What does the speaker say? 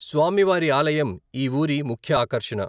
స్వామి వారి ఆలయం ఈ ఊరి ముఖ్య ఆకర్షణ.